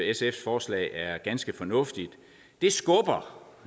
sfs forslag er ganske fornuftigt det skubber